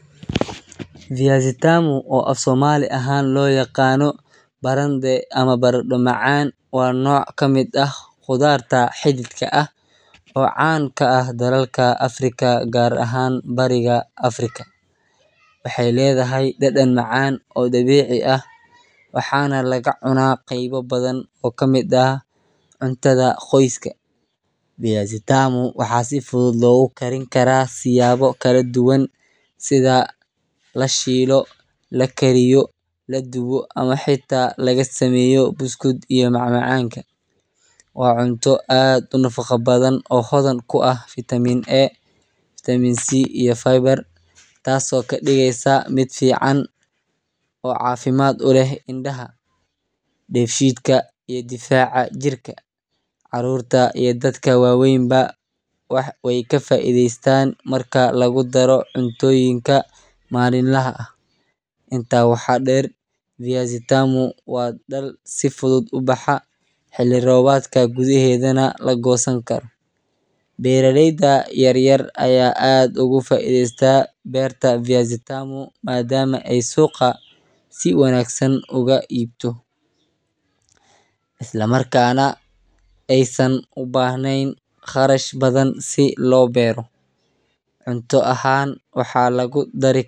viazi tamu oo afsomali ahan loyaqano barande amah baranda macaaan, waa noc kamid ah qudarta xididka ah caan kaaah dalalka Africa gar ahan bariga African, waxay ledahay dadan macaan oo dabici ah waxa nah laga cuna qeybo badhan oo kamid ah cuntadha qoyska, viazi tamu waxa si fudud logu karini karaa siyabo kaladuban, sidha lashilo, lakariyo, ladubo amah xita lagasameyo biscuits [cs ila mac macanka, waa cunto aad unafaqa badhan oo hodhan kuah vitamin A, vitamin C iyo faybar tasi oo kadigeysa mid fican oo cafimad uleh indaha, nefidka iyo difaca jirka carurta iyo dadka waweyn baa waika faideysan marka lagudaro cuntoyinka malinlaha ah, inta waxa der viazi tamu daal si fudud ubaxa xili robadka gudeheda lagosani karo, beraleyda yaryar aya aad oga faideysa berta viazi tamu madama aay suqa si wanaagsan oga ib jogto, isla marka nah aay san ubahnen qarash badhan si Logosto cunto ahan waxa lagudari.